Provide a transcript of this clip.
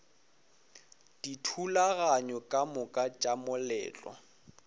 dithulaganyo ka moka tša moletlo